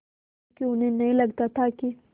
क्योंकि उन्हें नहीं लगता था कि